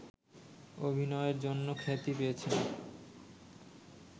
অভিনয়ের জন্য খ্যাতি পেয়েছেন